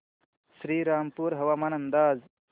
श्रीरामपूर हवामान अंदाज